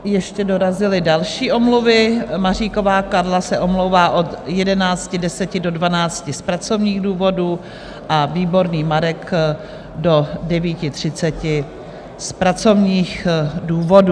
Ještě dorazily další omluvy: Maříková Karla se omlouvá od 11.10 do 12 z pracovních důvodů a Výborný Marek do 9.30 z pracovních důvodů.